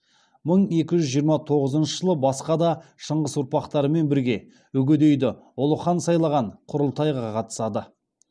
мың екі жүз жиырма тоғызнышы жылы басқа да шыңғыс ұрпақтарымен бірге үгедейді ұлы хан сайлаған құрылтайға қатысады